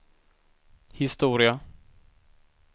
historia